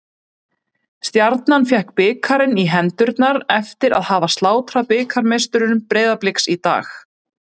Stjarnan fékk bikarinn í hendurnar eftir að hafa slátrað bikarmeisturum Breiðabliks í dag.